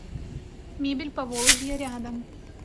мебель поволжья рядом